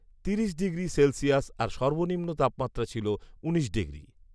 তিরিশ degree Celsius আর সর্বনিম্ন তাপমাত্রা ছিল উনিশ ডিগ্রি